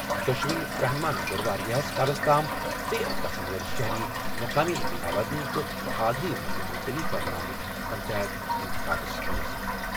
دۄشوٕنی رہنُماہن کٔر واریٛاہس کالَس تام ژیر گژھَن وٲلۍ شہری مُقٲمی اِنتِخاباتن تہٕ حالٕے منٛز ملتوی کرنہٕ آمٕتۍ پنچایت اِنتِخابس منز۔